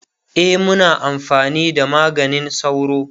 e Muna amfani da maganin sauro